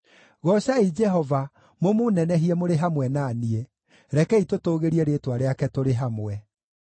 Goocai Jehova mũmũnenehie mũrĩ hamwe na niĩ; rekei tũtũũgĩrie rĩĩtwa rĩake tũrĩ hamwe.